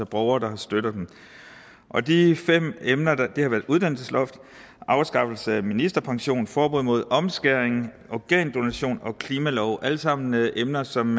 borgere der har støttet dem og de fem emner har været uddannelsesloftet afskaffelse af ministerpension forbud mod omskæring organdonation og klimalove hvad der alt sammen er emner som